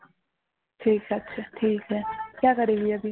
ঠিক আছে